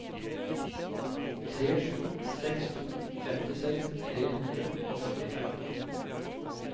tre sju seks to femtiseks tre hundre og førtifem